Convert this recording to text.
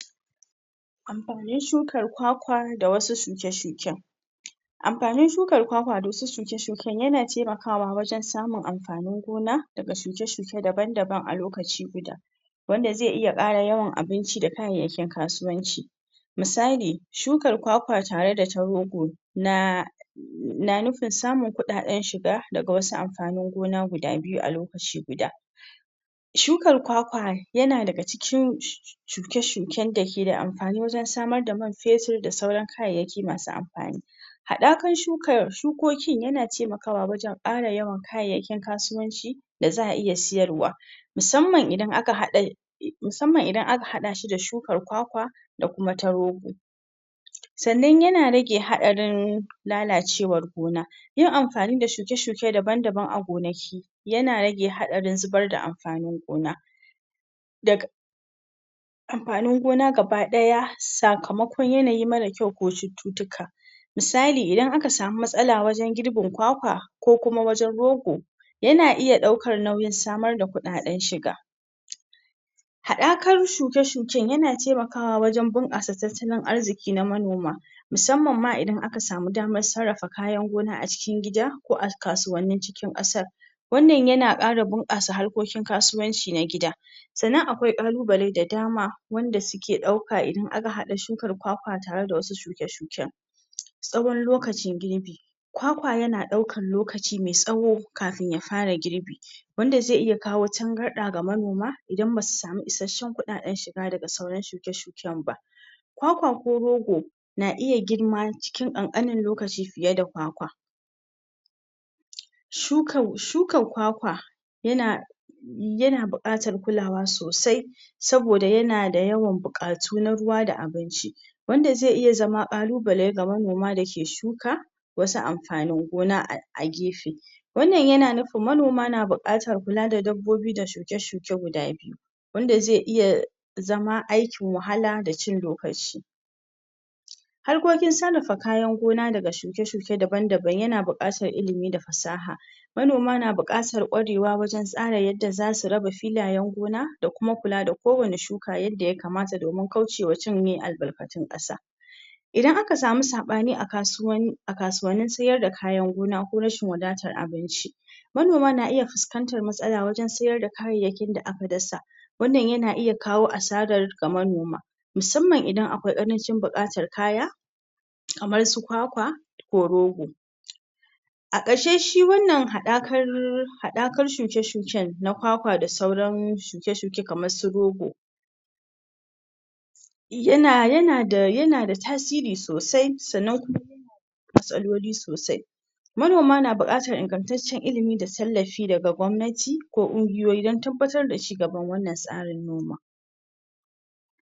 Amfani shukan kwakwa da wasu shuke shuken amfani shukan kwakwa da wasu shuke shuken yana temakawa wajan samun am fanin gona daga shuke shuke daban daban a lokaci guda wanda ze iya ƙara yawan abinci da kayayyakin kasuwanci musali shukan kwakwa tare da ta rogo na na nufin samun kuɗa ɗan shiga daga wasu amfanin gona guda biyu alokaci guda shukan kwakwa yana daga cikin shuke shuke dake amfani wajan samr da man fetir da sauran kayyayaki masu amfani haɗakan shukokin yana temaka kawa wajan ƙara yawan kayayyakin kasuwanci da za a iya siyarwa musamman idan aka haɗa musamman idan aka haɗashi da shukar kwakwa da kuma ta rogo sannan yana rage haɗarin lalacewar gona yin amfani da shuke shuke daban daban a gonaki yana rage haɗarin zubar da amfanin gona da amfani gona gaba ɗaya sakama kon yanayi mara kyau ko cuccutuka musalin idan aka samu matsala wajan girbin kwakwa kokuma wajan rogo yana iya ƙƴɓɗaukan nauyin samar da kuɗa ɗan shiga haɗakar shuke shuke yana tema kawa wajan bunƙasa tattalin arziki na manoma musamman ma idan aka samu daman sarrafa kayan gona acikin gida ko a kasuwannin cikin ƙasar wannan yana ƙara bunkasa hanyoyin kasuwanci na gida sannan akwai ƙalu bale da dama wanda suke ɗauka idan aka haɗa shukan kwakwa tare da wasu shuke shuken tsawon lokacin girbi kwakwa yana ɗaukan lokaci mai tsawo kafin yafara girbi wanda ze iya kawo tangarɗa ga manoma idan basu samu ishashshan kuɗaɗan ba daga sauran shuke shuken ba kwakwa ko rogo na iya girma cinkin ƙan ƙanin lokaci fiyada kwakwa shuka, shuka kwakwa yana yana buƙatar kulawa sosai saboda yanada yawan buƙatu na ruwa da abinci wanda ze iya zama ƙalu bale daga shuka wasu amfanin gona a gefe wannan yana nufin manoma na buƙatan kula da dabbobi da shuke shuke guda biyu wanda ze iya zama aikin wahala da cin dokanshi har kokin sarrafa kayan gona daga shuke shuke daban daban yana buƙatan ilimi da fsaha manoma na buƙatar ƙwarewa wajan tsara yadda zasu raba filayan gona da kuma kulada ko wani shuka ka yadda yakamata domin kaucewa cinye albarkacin ƙasa idan aka samu saɓani akasuwan akasuwani siyar da kayan gona ko rashin wadatar abinci manoma na iya fuskantan matsala wajan siyarda kayayyakin da aka dasa wannan yana iya kawo asarar da manoma musamman kaman akwai ƙarancin buƙatan kaya kamar su kwakwa ko rogo a ƙarshe shi wannan haɗakan haɗa kan shuke shuke na kwakwa da sauran shuke shuke kaman su rogo yana, yanada tasiri sosai sannan ku ma tsaloli sosai manoma na buƙatan ingan taccen ilimi da tallafi daga gwabnati ko kungiyoyi dan tabbatar da cigaban wannan tsarin noma